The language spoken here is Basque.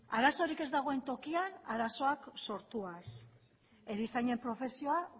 arazorik ez dagoen tokian arazoak sortuaz erizainen profesioa